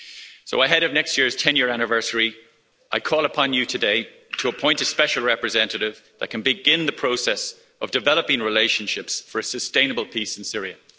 So ahead of next year's 10 year anniversary, I call upon you today to appoint a Special Representative that can begin the process of developing relationships for a sustainable peace in Syria.